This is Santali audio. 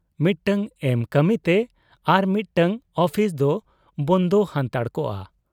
ᱢᱤᱫᱴᱟᱹᱝ ᱮᱢ ᱠᱟᱹᱢᱤᱛᱮ ᱟᱨᱢᱤᱫᱴᱟᱹᱝ ᱚᱯᱷᱤᱥᱫᱚ ᱵᱚᱸᱫᱽ ᱦᱟᱱᱛᱟᱲ ᱠᱚᱜ ᱟ ᱾